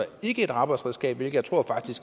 ikke et arbejdsredskab hvilket